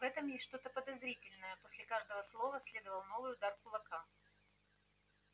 в этом есть что-то подозрительное после каждого слова следовал новый удар кулака